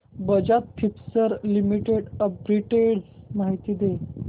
Bajaj Finserv limited arbitrage माहिती दे